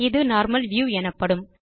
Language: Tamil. இது நார்மல் வியூ எனப்படும்